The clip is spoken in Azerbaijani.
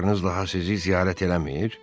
qızlarınız daha sizi ziyarət eləmir?